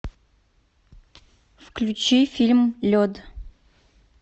включи фильм лед